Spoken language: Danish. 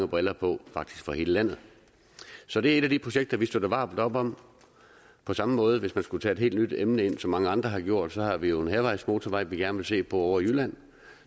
briller på faktisk for hele landet så det er et af de projekter vi støtter varmt op om på samme måde hvis man skulle tage et helt nyt emne ind som mange andre har gjort har vi jo en hærvejsmotorvej vi gerne vil se på ovre i jylland